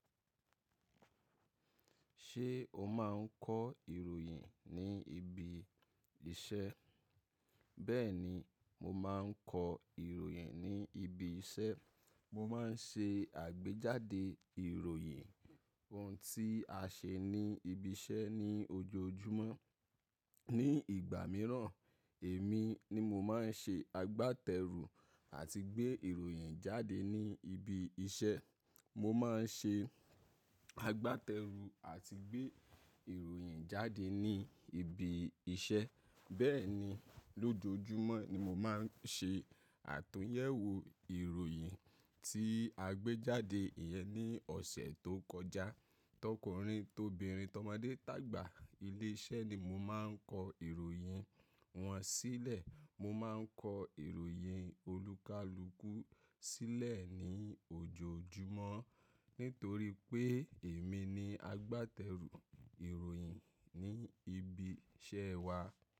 Ṣé o máa ń kọ ìròyìn ní ibi iṣẹ́? Bẹ́ẹ̀ni, mo máa ń kọ ìròyìn ní ibi iṣẹ́. Mo má ń ṣe àgbéjáde ìròyìn, ohun tí a ṣe ní ibi iṣẹ́ ní ojoojúmọ́. Ni ìgbà mìíràn, èmi ni mo má ń ṣe agbátẹrù àti gbé ìròyìn jáde ní ibi iṣẹ́. Mo má ń ṣe agbátẹrù àti gbé ìròyìn jáde ní ibi iṣẹ́. Bẹ́ẹ̀ni, lójoojúmọ́ ni mo má ń ṣe àtúnyẹ̀wò ìròyìn tí a gbé jáde yẹn ní ọ̀sẹ̀ tó kọjá. Tọkùnrin, tobìnrin, tọ́mọdé tàgbà ilé iṣẹ́ ni mo má ń kọ ìròyìn wọn sílẹ̀. Mo má ń kọ ìròyìn olúkalùkù sílẹ̀ ní ojoojúmọ́, nítorí pé èmi ni agbátẹrù ìròyìn ní ibi iṣẹ́ wa.